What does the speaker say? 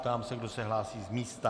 Ptám se, kdo se hlásí z místa.